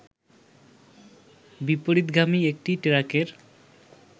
বিপরীতগামী একটি ট্রাকের